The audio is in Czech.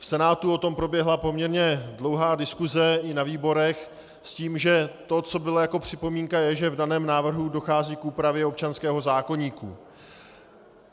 V Senátu o tom proběhla poměrně dlouhá diskuse i na výborech s tím, že to, co bylo jako připomínka, je, že v daném návrhu dochází k úpravě občanského zákoníku.